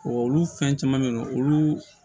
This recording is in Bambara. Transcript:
olu fɛn caman bɛ yen nɔ olu